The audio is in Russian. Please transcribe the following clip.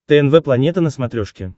тнв планета на смотрешке